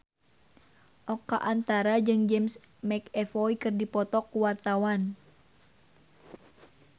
Oka Antara jeung James McAvoy keur dipoto ku wartawan